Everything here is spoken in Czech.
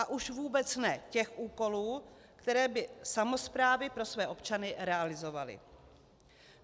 A už vůbec ne těch úkolů, které by samosprávy pro své občany realizovaly.